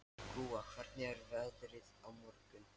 Gúa, hvernig er veðrið á morgun?